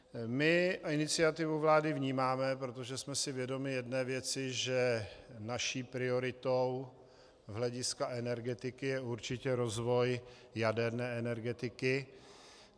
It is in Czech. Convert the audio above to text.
My iniciativu vlády vnímáme, protože jsme si vědomi jedné věci, že naší prioritou z hlediska energetiky je určitě rozvoj jaderné energetiky.